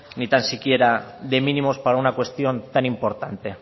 ni tan siquiera de mínimos para una cuestión tan importante